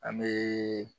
An bɛ